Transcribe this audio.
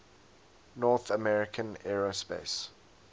north american aerospace